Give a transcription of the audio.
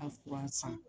A fura san